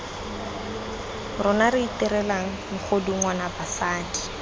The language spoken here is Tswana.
rona re itirelang megodungwana basadi